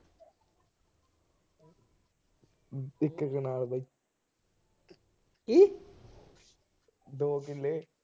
ਇਕ ਕੈਨਾਲ। ਦੋ ਕਿਲੇ।